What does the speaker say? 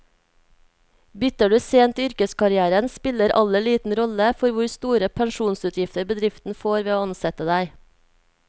Bytter du sent i yrkeskarrieren, spiller alder liten rolle for hvor store pensjonsutgifter bedriften får ved å ansette deg.